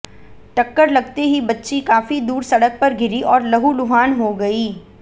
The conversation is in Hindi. टक्कर लगते ही बच्ची काफी दूर सड़क पर गिरी और लहूलुहान हो गई